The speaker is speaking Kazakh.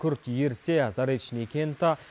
күрт ерісе заречный кенті